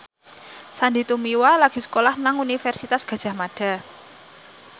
Sandy Tumiwa lagi sekolah nang Universitas Gadjah Mada